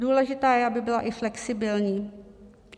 Důležitá je, aby byla i flexibilní.